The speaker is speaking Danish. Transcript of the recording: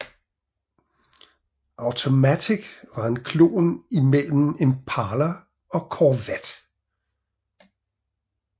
Automatic var en klon mellem Impala og Corvette